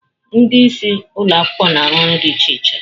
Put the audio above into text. Ndị isi ụlọ akwụkwọ na-arụ ọrụ dị iche iche